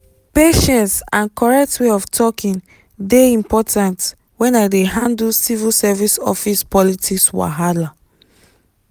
patience and correct way of talking dey important when i dey handle civil service office politics wahala.